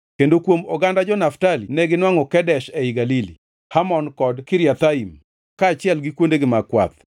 kendo kuom oganda jo-Naftali neginwangʼo Kedesh ei Galili, Hamon kod Kiriathaim, kaachiel gi kuondegi mag kwath.